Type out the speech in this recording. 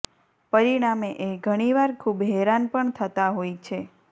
પરિણામે એ ઘણીવાર ખૂબ હેરાન પણ થતા હોય છે